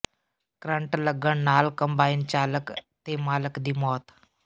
current ਲੱਗਣ ਨਾਲ combine ਚਾਲਕ ਤੇ ਮਾਲਕ ਦੀ ਮੌਤ